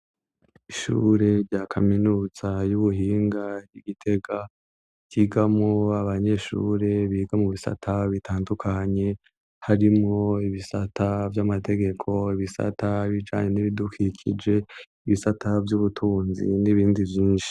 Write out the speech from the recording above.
Ishure rya kaminuza a y'ubuhinga y'igitega ryigamwo abanyeshure biga mubisata bitandukanye harimwo ibisata vy'amategeko, ibisata bijanye n'ibidukikije, ibisata vy'ubutunzi n'ibindi vyinshi.